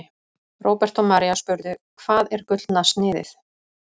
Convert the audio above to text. Róbert og María spurðu: Hvað er Gullna sniðið?